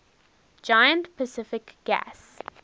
giant pacific gas